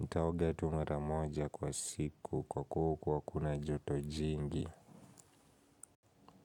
nitaoga tu mara moja kwa siku. Kwa kuwa huku hakuna joto jingi.